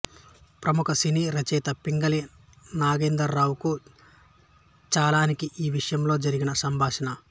ప్రముఖ సినీ రచయిత పింగళి నాగేంద్రరావుకు చలానికి ఈ విషయంలో జరిగిన సంభాషణ